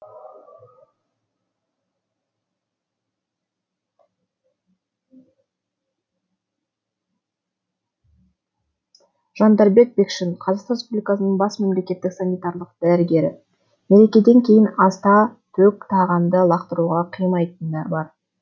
жандарбек бекшин қазақстан республикасының бас мемлекеттік санитариялық дәрігері мерекеден кейін аста төк тағамды лақтыруға қимайтыны бар